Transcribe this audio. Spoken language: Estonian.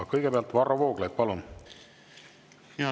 Kõigepealt Varro Vooglaid, palun!